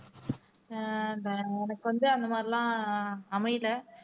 ஆஹ் எனக்கு வந்து அந்த மாதிரி எல்லாம் அமையலை